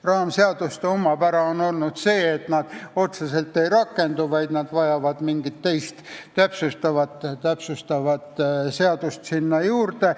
Raamseaduste omapära on olnud see, et nad otseselt ei rakendu, nad vajavad mingit teist, täpsustavat seadust juurde.